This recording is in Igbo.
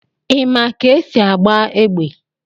Ị ma ka esi agba égbè?